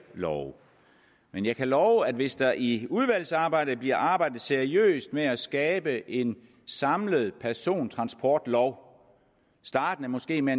love men jeg kan love at hvis der i udvalgsarbejdet bliver arbejdet seriøst med at skabe en samlet persontransportlov startende måske med